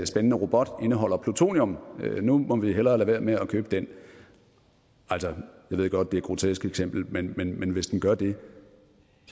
spændende robot indeholder plutonium og nu må vi hellere lade være med at købe den altså jeg ved godt det er et grotesk eksempel men men hvis den gør det